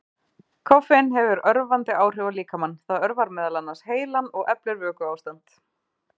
Koffein hefur örvandi áhrif á líkamann, það örvar meðal annars heilann og eflir vökuástand.